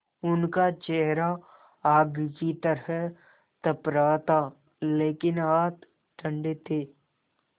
उनका चेहरा आग की तरह तप रहा था लेकिन हाथ ठंडे थे